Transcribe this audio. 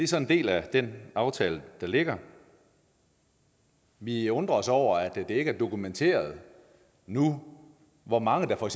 så en del af den aftale der ligger vi undrer os over at det ikke er dokumenteret nu hvor mange der for